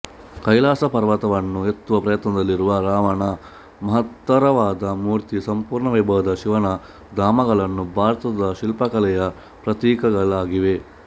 ಕೈಲಾಸ ಪರ್ವತವನ್ನು ಎತ್ತುವ ಪ್ರಯತ್ನದಲ್ಲಿರುವ ರಾವಣನ ಮಹ್ತ್ತರವಾದ ಮೂರ್ತಿ ಸಂಪೂರ್ಣ ವೈಭವದ ಶಿವನ ಧಾಮಗಳು ಭಾರತದ ಶಿಲ್ಪಕಲೆಯ ಪ್ರತೀಕಗಳಾಗಿವೆ